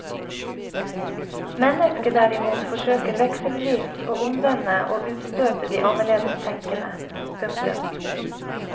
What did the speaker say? Mennesket derimot forsøker vekselvis å omvende og utstøte de annerledes tenkende. punktum